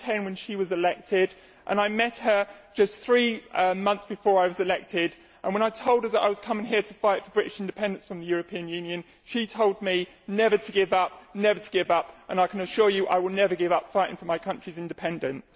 I was ten when she was elected and I met her just three months before I was elected, and when I told her that I was coming here to fight for British independence from the European Union she told me never to give up, never to give up, and I can assure you I will never give up fighting for my country's independence.